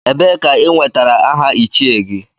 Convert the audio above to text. Ebee ka i nwetara aha Ichie gị?